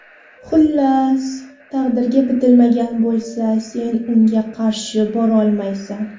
Xullas, taqdirga bitilmagan bo‘lsa, sen unga qarshi borolmaysan.